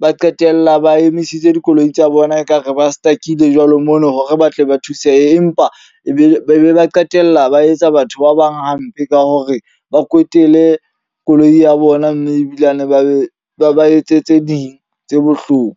ba qetella ba emisitse dikoloi tsa bona ekare ba stuck-ile jwalo ho mono hore ba tle ba thuseha. Empa e be ba qetella ba etsa batho ba bang hampe ka hore ba kwetele le koloi ya bona. Mme ebilane ba be ba ba etse tse ding tse bohloko.